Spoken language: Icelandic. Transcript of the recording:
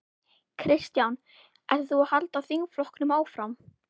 Kristján: Ætlar þú að halda þingflokknum áfram?